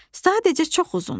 Sadəcə çox uzundur.